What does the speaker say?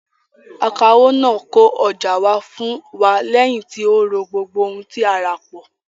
Akawó náà kó ọjà wa fún wa lẹ́yìn tí ó rọ̀ gbogbo ohun tí a rà pọ̀.